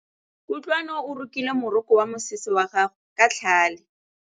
Kutlwanô o rokile morokô wa mosese wa gagwe ka tlhale.